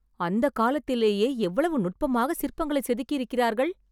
அந்த காலத்திலேயே எவ்வளவு நுட்பமாக சிற்பங்களை செதுக்கியிருக்கிறார்கள்!